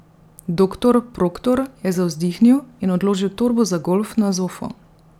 Doktor Proktor je zavzdihnil in odložil torbo za golf na zofo.